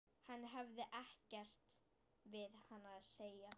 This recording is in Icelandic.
Hann hefði ekkert við hana að segja.